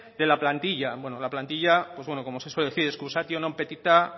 de la plantilla bueno la plantilla pues como se suele decir excusation non petita